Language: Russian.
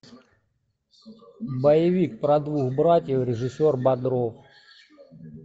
боевик про двух братьев режиссер бодров